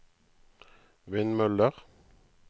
vindmøller